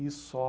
E só.